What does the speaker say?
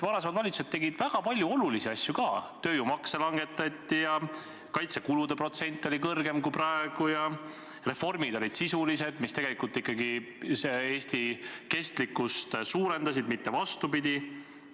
Varasemad valitsused tegid väga palju olulisi asju ka: tööjõumakse langetati ja kaitsekulude protsent oli kõrgem kui praegu, reformid olid sisulised ja suurendasid Eesti kestlikkust, mitte vastupidi.